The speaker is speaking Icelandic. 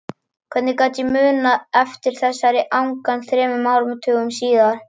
Hvernig gat ég munað eftir þessari angan þremur áratugum síðar?